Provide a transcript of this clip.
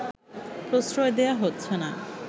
প্রশ্রয় দেয়া হচ্ছেনা